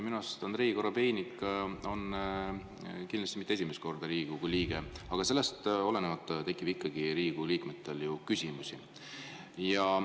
Minu arust on Andrei Korobeinik kindlasti mitte esimest korda Riigikogu liige, aga sellest olenemata tekib ikkagi ju Riigikogu liikmel küsimusi.